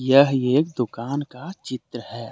यह एक दुकान का चित्र है।